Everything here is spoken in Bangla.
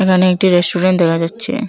এখানে একটি রেস্টুরেন্ট দেখা যাচ্ছে।